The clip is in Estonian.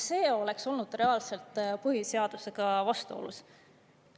See oleks olnud reaalselt põhiseadusega vastuolus.